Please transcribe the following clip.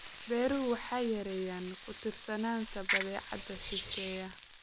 Beeruhu waxay yareeyaan ku-tiirsanaanta badeecadaha shisheeye.